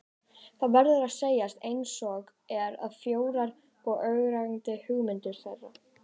Það verður að segjast einsog er, að frjóar og ögrandi hugmyndir þeirra